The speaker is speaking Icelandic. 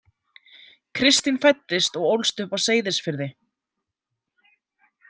Kristín fæddist og ólst upp á Seyðisfirði.